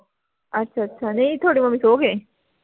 ਅੱਛਾ ਅੱਛਾ ਨਹੀਂ ਥੋਡੀ ਮੰਮੀ ਸੋ ਗਏ